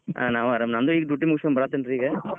ಹಾ ನಾವೂ ಆರಾಮ್ ನಂದು ಈಗ duty ಮುಗಿಸ್ಕೊಂಡ್ ಬರಾತೇನ್ರಿ ಈಗ.